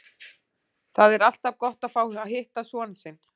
Það er alltaf gott að fá að hitta son sinn.